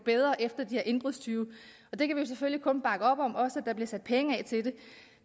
efter de her indbrudstyve det kan vi selvfølgelig kun bakke op om og også at der bliver sat penge af til det